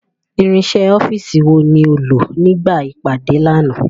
Irinṣẹ́ ọ́fíìsì wo ni o lò nígbà ìpàdé lánàá?